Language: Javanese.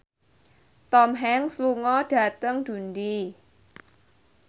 Tom Hanks lunga dhateng Dundee